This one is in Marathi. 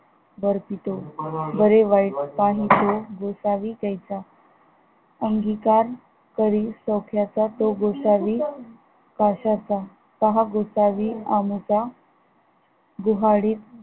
बर्पितो बरे वाईट पाहितो गोसावी तैसा अंगीकार तरी सौख्याचा तो गोसावी काश्याचा पहा गोसावी आमचा दुहाळी